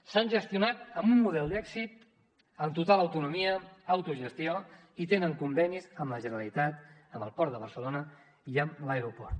s’han gestionat amb un model d’èxit amb total autonomia autogestió i tenen convenis amb la generalitat amb el port de barcelona i amb l’aeroport